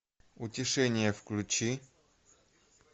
утешение включи